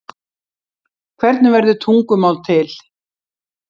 hvernig verður tungumál til